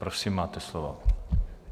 Prosím, máte slovo.